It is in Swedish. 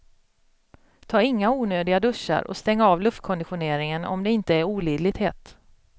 Ta inga onödiga duschar och stäng av luftkonditioneringen om det inte är olidligt hett.